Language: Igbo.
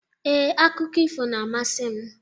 Ee, akụkọ ifo na-amasị m.